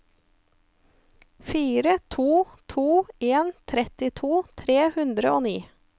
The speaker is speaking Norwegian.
fire to to en trettito tre hundre og ni